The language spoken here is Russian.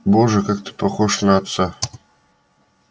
боже как ты похож на отца